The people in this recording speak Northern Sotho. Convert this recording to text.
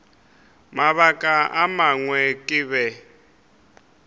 mabaka a mangwe ke be